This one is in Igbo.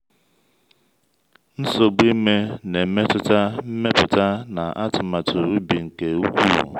nsogbu ime na-emetụta mmepụta na atụmatụ ubi nke ukwuu.